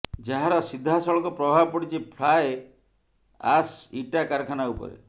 ଯାହାର ସିଧାସଳଖ ପ୍ରଭାବ ପଡିଛି ଫ୍ଲାଏ ଆଶ୍ ଇଟା କାରଖାନା ଉପରେ